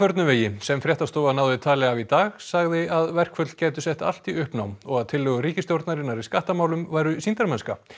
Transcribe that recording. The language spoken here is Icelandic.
sem fréttastofa náði tali af í dag sagði að verkföll gætu sett allt í uppnám og tillögur ríkisstjórnarinnar í skattamálum væru sýndarmennska